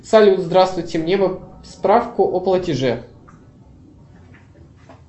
салют здравствуйте мне бы справку о платеже